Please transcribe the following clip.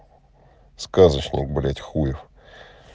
сказочник блять хуев